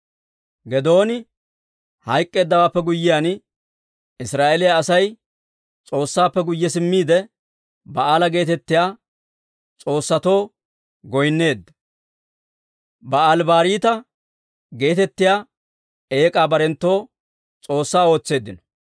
Geedooni hayk'k'eeddawaappe guyyiyaan, Israa'eeliyaa Asay S'oossaappe guyye simmiide, Ba'aala geetettiyaa s'oossatoo goynneedda; Ba'aali-Bariita geetettiyaa eek'aa barenttoo s'oossaa ootseeddino.